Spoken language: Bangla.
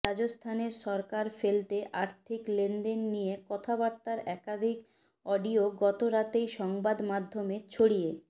রাজস্থানের সরকার ফেলতে আর্থিক লেনদেন নিয়ে কথাবার্তার একাধিক অডিয়ো গত রাতেই সংবাদমাধ্যমে ছড়িয়ে